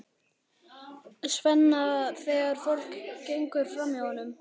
Svenna þegar fólk gengur framhjá honum.